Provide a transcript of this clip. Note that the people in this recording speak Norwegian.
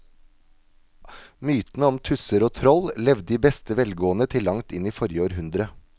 Mytene om tusser og troll levde i beste velgående til langt inn i forrige århundre.